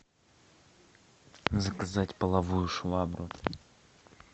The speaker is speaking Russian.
заказать половую швабру